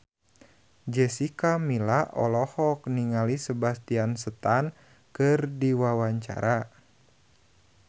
Jessica Milla olohok ningali Sebastian Stan keur diwawancara